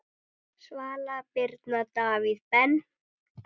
Svala Birna, Davíð Ben.